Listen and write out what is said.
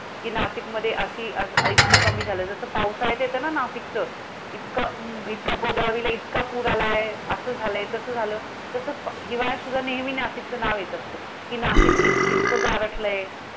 कि नाशिकमध्ये अशी अं इतकं कमी झालंय. जसं पावसाळ्यात येतं ना नाशिकचं! इतकं, हम्म हम्म इतका गोदावरीला इतका पूर आलाय! असं झालंय तसं झालंय, तसं हिवाळ्यात सुद्धा नेहमी नाशिकचं नाव येत असतं. कि नाशिक इत् इतकं गारठलंय.